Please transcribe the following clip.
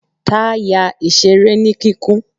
ta ya ìseré ní kikún